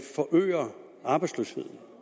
forøger arbejdsløsheden